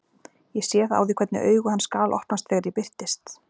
Ég sé það á því hvernig augu hans galopnast þegar ég birtist.